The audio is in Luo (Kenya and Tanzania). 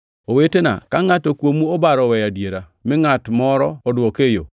Owetena, ka ngʼato kuomu obaro oweyo adiera, mi ngʼat moro odwoke e yo,